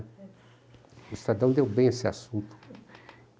O Estadão deu bem esse assunto.